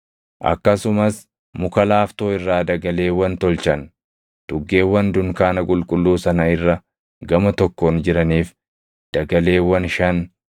Akkasumas muka laaftoo irraa dagaleewwan tolchan; tuggeewwan dunkaana qulqulluu sana irra gama tokkoon jiraniif dagaleewwan shan,